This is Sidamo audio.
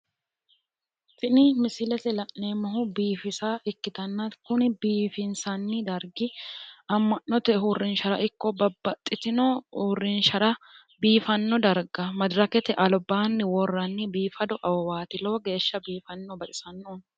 Tini misilete la'neemmohu biifisa ikkitanna kuni biifinsanni dargi amma'note uurrinshara ikko babbaxxitino uurrinshara biifanno darga madirakete albaanni worranni biifado awawaati. Lowo geeshsha biifanno. Baxisanno.